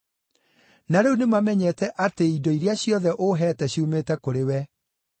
Na rĩu nĩmamenyete atĩ indo iria ciothe ũheete ciumĩte kũrĩ wee.